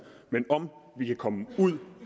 men om vi kan komme ud